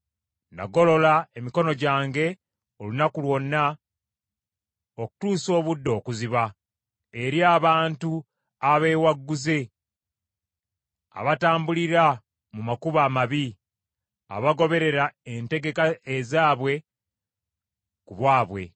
Nagolola emikono gyange olunaku lwonna okutuusa obudde okuziba eri abantu abeewagguzze, abatambulira mu makubo amabi abagoberera entegeka ezaabwe ku bwabwe;